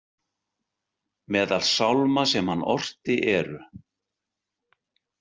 Meðal sálma sem hann orti eru.